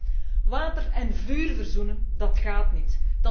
Collega's, water en vuur verzoenen, dat gaat niet.